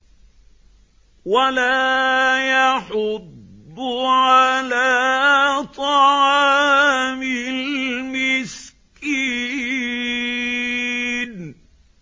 وَلَا يَحُضُّ عَلَىٰ طَعَامِ الْمِسْكِينِ